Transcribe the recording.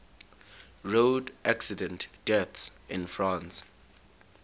road accident deaths in france